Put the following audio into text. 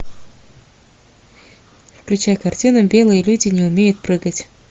включай картину белые люди не умеют прыгать